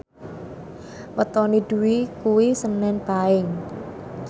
wetone Dwi kuwi senen Paing